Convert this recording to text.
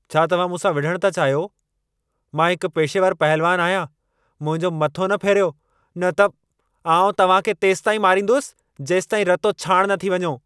छा तव्हां मूंसां विढ़णु था चाहियो? मां हिकु पेशेवरु पहलवानु आहियां। मुंहिंजो मथो न फेरियो न त, आउं तव्हां खे तेसींताईं मारींदुसि, जेसींताईं रतो छाणि न थी वञो।